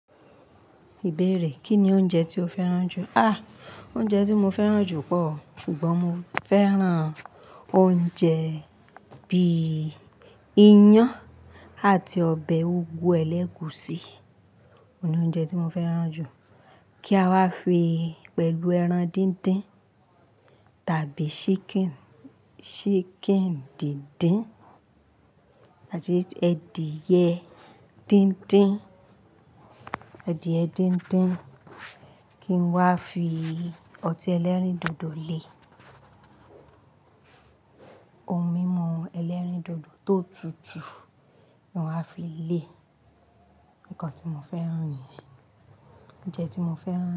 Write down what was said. Ìbéèrè, Kí ni oúnjẹ tí o fẹ́ràn jù? À, oúnjẹ tí mo fẹ́ràn jù pọ̀ o, ṣùgbọ́n mo fẹ́ràn oúnjẹ bí i ìyàn àti ọbẹ̀ úgú ẹlẹ́gùúsí, òun ni oúnjẹ tí mo fẹ́ràn jù. Kí a wá fi pẹ̀lú ẹran díndín tàbí chicken, chicken díndín àti edìyẹ díndín, edìyẹ díndín. Kí n wá fi ọtí ẹlẹ́rìndòdò lé, ohun mímu ẹlẹ́rìndòdò tó tutù ki n wá fi lé. Nǹkan tí mo fẹ́ràn nìyẹn. Oúnjẹ tí mo fẹ́ràn.